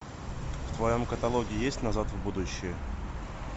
в твоем каталоге есть назад в будущее